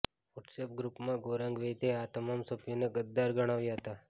WhatsApp ગ્રૂપમાં ગૌરાંગ વૈદ્યે આ તમામ સભ્યોને ગદ્દાર ગણાવ્યા હતા